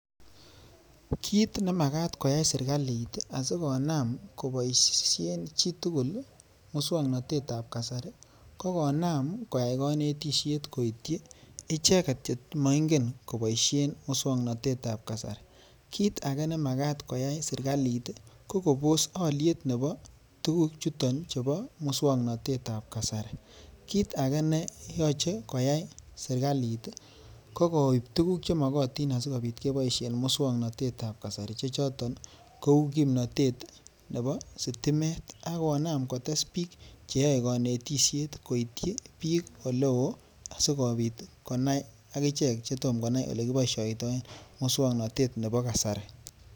Kiit nemakat koyai serikalit asikonam koboishen chitukul muswoknotetab kasari, kokonam koyai konetishet koityi icheket chemoing'en koboishen muswoknotetab kasari, kiit akee nemakat koyai serikalit ko koboos oliet nebo tukuchuton chebo muswoknotetab kasari, kiit akee ne yoche koyai serikalit ko koib tukuk chenyolu asikeboishen muswoknotetab kasari chechoton kouu kipnotet nebo sitimet akonam kotes biik cheyoe konetishet koityi biik olewoo asikobit konai akichek chetom konai elekiboishoitoen muswoknotet nebo kasari.